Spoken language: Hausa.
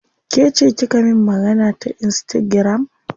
Kece kika min magana ta insitagiram?